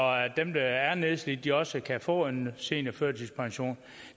dem der er nedslidte også kan få en seniorførtidspension